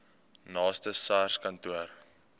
naaste sars kantoor